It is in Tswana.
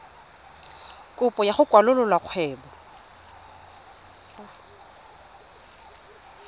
kopo ya go kwalolola kgwebo